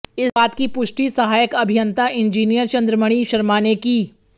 इस बात की पुष्टि सहायक अभियंता इंजीनियर चंद्रमणि शर्मा ने की